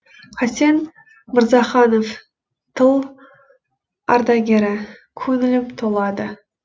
хасен мырзаханов тыл ардагері көңілім толады